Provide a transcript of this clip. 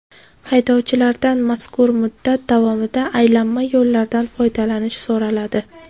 Haydovchilardan mazkur muddat davomida aylanma yo‘llardan foydalanish so‘raladi.